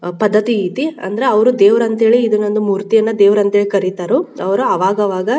ಅ ಪದ್ಧತಿ ಇತಿ ಅಂದ್ರೆ ಅವ್ರ್ ದೇವ್ರ್ ಅಂತ ಹೇಳಿ ಇದನೊಂದು ಮೂರ್ತಿ ಅಂತ್ ಹೇಳಿ ಇದನೊಂದು ಮೂರ್ತಿನ ದೇವ್ರ್ ಅಂತ್ ಕರಿತರುಅವ್ರ್ ಅವಾಗ್ ಅವಾಗ--